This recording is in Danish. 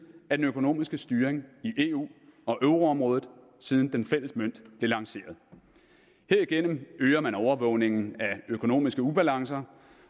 af den økonomiske styring i eu og euroområdet siden den fælles mønt blev lanceret herigennem øger man overvågningen af økonomiske ubalancer